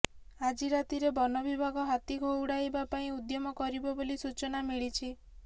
ଆଜି ରାତିରେ ବନବିଭାଗ ହାତୀ ଘଉଡାଇବା ପାଇଁ ଉଦ୍ୟମ କରିବ ବୋଲି ସୂଚନା ମିଳିଛି